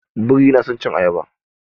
Biri yana son cin ayaba.